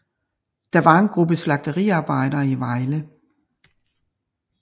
Det var en gruppe slagteriarbejdere i Vejle